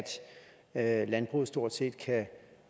at landbruget stort set kan